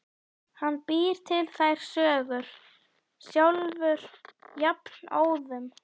Hann býr til þær sögur sjálfur jafnóðum.